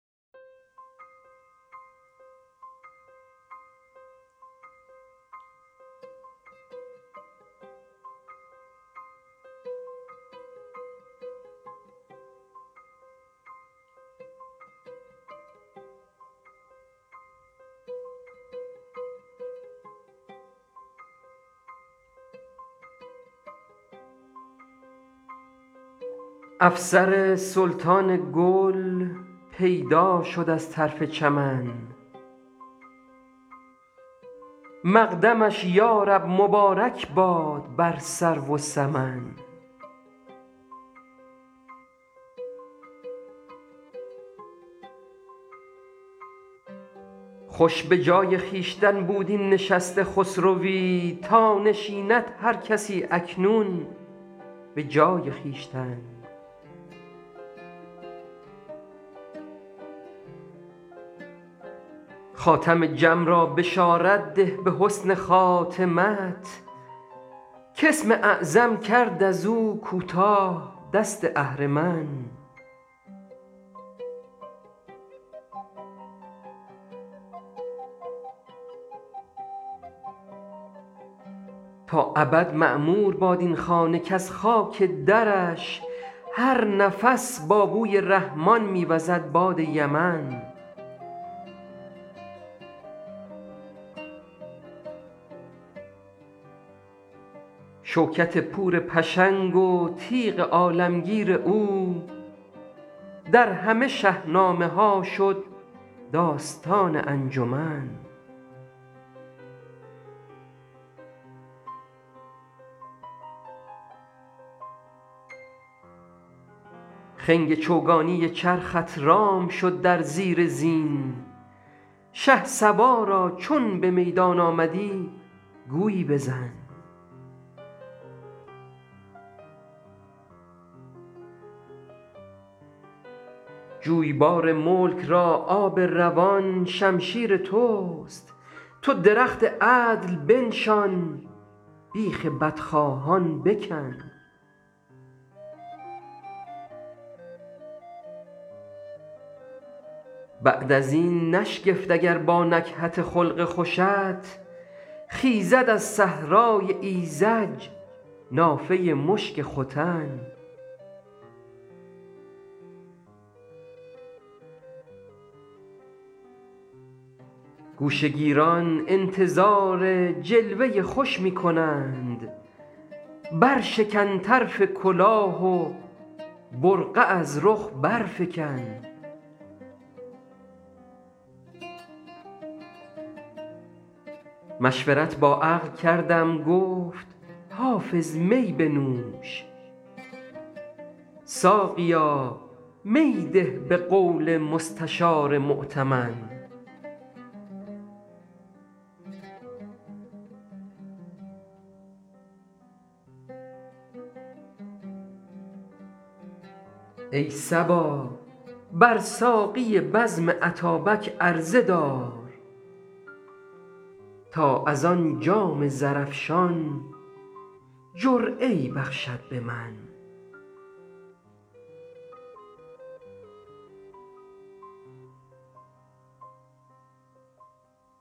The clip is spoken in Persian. افسر سلطان گل پیدا شد از طرف چمن مقدمش یا رب مبارک باد بر سرو و سمن خوش به جای خویشتن بود این نشست خسروی تا نشیند هر کسی اکنون به جای خویشتن خاتم جم را بشارت ده به حسن خاتمت کاسم اعظم کرد از او کوتاه دست اهرمن تا ابد معمور باد این خانه کز خاک درش هر نفس با بوی رحمان می وزد باد یمن شوکت پور پشنگ و تیغ عالمگیر او در همه شهنامه ها شد داستان انجمن خنگ چوگانی چرخت رام شد در زیر زین شهسوارا چون به میدان آمدی گویی بزن جویبار ملک را آب روان شمشیر توست تو درخت عدل بنشان بیخ بدخواهان بکن بعد از این نشگفت اگر با نکهت خلق خوشت خیزد از صحرای ایذج نافه مشک ختن گوشه گیران انتظار جلوه خوش می کنند برشکن طرف کلاه و برقع از رخ برفکن مشورت با عقل کردم گفت حافظ می بنوش ساقیا می ده به قول مستشار مؤتمن ای صبا بر ساقی بزم اتابک عرضه دار تا از آن جام زرافشان جرعه ای بخشد به من